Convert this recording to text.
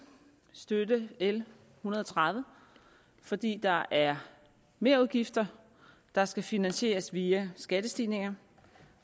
støtte l en hundrede og tredive fordi der er merudgifter der skal finansieres via skattestigninger